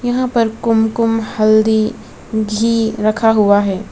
यहाँ पर कुमकुम हल्दी घी रखा हुआ हे.